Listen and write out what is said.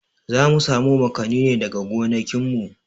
Zamu samo makanin ne daga gonakin mu